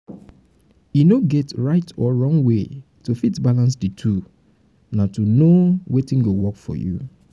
e no get right or wrong way to fit balance di two na to know know wetin go work for you